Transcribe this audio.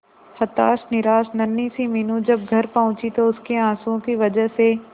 हताश निराश नन्ही सी मीनू जब घर पहुंची तो उसके आंसुओं की वजह से